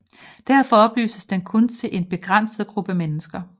Derfor oplyses den kun til en begrænset gruppe mennesker